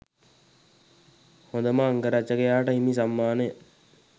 හොඳම අංගරචකයාට හිමි සම්මානය